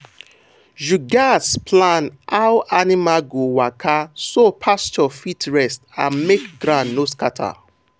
you gats plan how animals go waka so pasture fit rest and make ground no scatter.